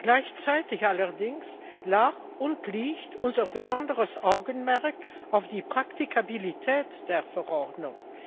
Gleichzeitig allerdings lag und liegt unser besonderes Augenmerk auf der Praktikabilität der Verordnung.